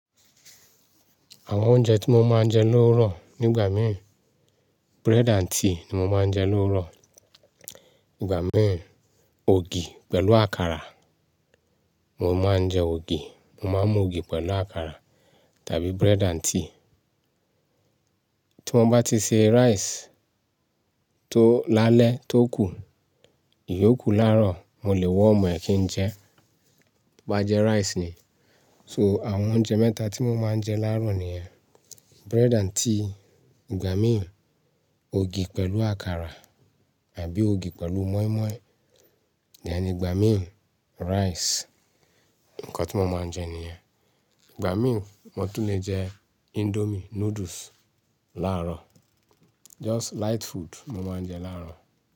Àwọn oúnjẹ tí mo máa ń jẹ lóòrọ, nígbà míìn, bread and tea ni mo máa ń jẹ lóòrọ. Ìgbà míìn, ògì pẹ̀lú àkàrà. Mo máa ń jẹ ògì, mo máa ń mu ògì pẹ̀lú àkàrà tàbí bread and tea. Tí wọ́n bá ti se rice tó, lálẹ́ tó kù, ìyo kù lárọ̀, mo lè warm ẹ̀ kín jẹ, to bá jẹ rice ni. So àwọn oúnjẹ mẹ́ta tí mo máa ń jẹ láàárọ̀ ni yẹ́n, bread and tea, ìgbà míìn ògì pẹ̀lú àkàrà àbí ògì pẹ̀lú mọ́ímọ́í. Then ìgbà míì rice, nǹkan tí mo máa ń jẹ nìyẹn. Ìgbà míìn, mo tún lè jẹ indomie noodles láàárọ̀. Just light food mo máa ń jẹ láàárọ̀.